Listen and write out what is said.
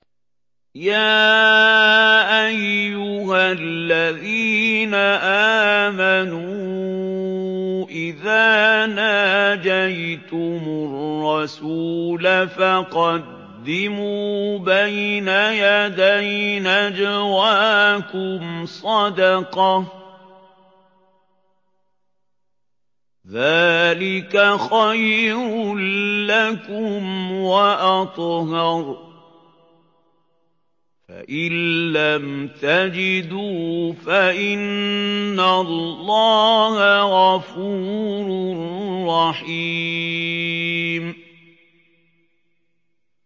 يَا أَيُّهَا الَّذِينَ آمَنُوا إِذَا نَاجَيْتُمُ الرَّسُولَ فَقَدِّمُوا بَيْنَ يَدَيْ نَجْوَاكُمْ صَدَقَةً ۚ ذَٰلِكَ خَيْرٌ لَّكُمْ وَأَطْهَرُ ۚ فَإِن لَّمْ تَجِدُوا فَإِنَّ اللَّهَ غَفُورٌ رَّحِيمٌ